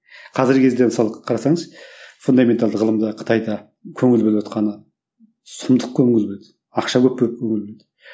қазіргі кезде мысалы қарасаңыз фундаменталды ғылымға қытайда көңіл бөліватқаны сұмдық көңіл бөлді ақша көп бөлінді